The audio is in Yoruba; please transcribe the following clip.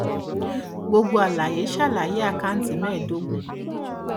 gbogbo àlàyé ṣàlàyé àkáǹtì mẹ́ẹ̀ẹ́dógún.